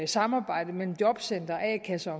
samarbejde mellem jobcentre og a kasser